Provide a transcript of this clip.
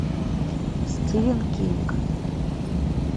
стивен кинг